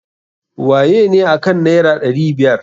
Wayene akan naira ɗari biyar?